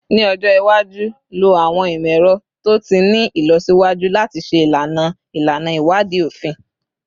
Ni ọjọ iwaju, lo awọn imọ-ẹrọ to ti ni ilọsiwaju lati ṣe ilana ilana iwadii ofin